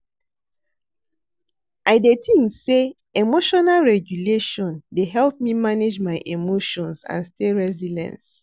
I dey think say emotional regulation dey help me manage my emotions and stay resilience.